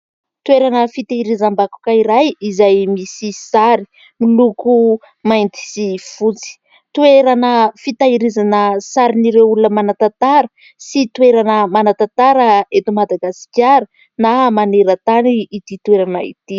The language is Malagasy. Toerana fitahirizam-bakoka iray izay misy sary miloko mainty sy fotsy, toerana fitahirizana sarin'ireo olona manan-tantara sy toerana manan-tantara eto Madagasikara na maneran-tany ity toerana ity.